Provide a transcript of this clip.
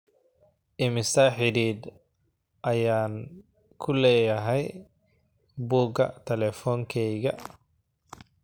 immisa xiriir ayaan ku leeyahay buugga taleefonkayga